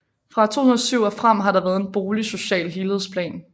Fra 2007 og frem har der været en boligsocial helhedsplan